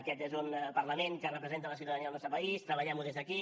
aquest és un parlament que representa la ciutadania del nostre país treballem ho des d’aquí